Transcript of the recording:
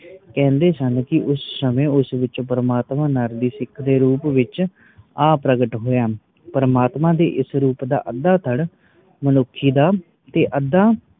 ਕੈਂਦੇ ਸਨ ਕਿ ਉਸ ਸਮੇ ਉਸ ਵਿਚ ਪ੍ਰਮਾਤਮਾ ਨਰਸਿੰਘ ਦੇ ਰੂਪ ਵਿਚ ਆ ਪ੍ਰਗਟ ਹੋਯਾ ਪ੍ਰਮਾਤਮਾ ਦੇ ਇਸ ਰੂਪ ਦਾ ਅੱਦਾ ਧੜ ਮਨੁੱਖੀ ਦਾ ਤੇ ਅਦਾ